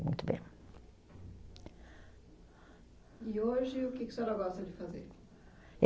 Muito bem. E hoje, o que que a senhora gosta de fazer?